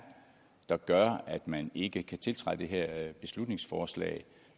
der gør at man ikke kan tiltræde det her beslutningsforslag